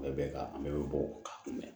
Bɛɛ bɛ ka an bɛɛ bɛ bɔ ka mɛn